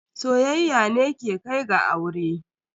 Soyayya ne ke kai ga aure.